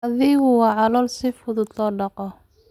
Adhigu waa xoolo si fudud loo dhaqdo.